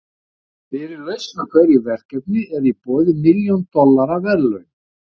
Fyrir lausn á hverju verkefni eru í boði milljón dollara verðlaun.